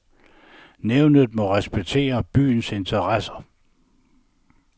Nævnet må respektere byens interesser.